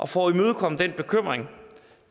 for at imødekomme den bekymring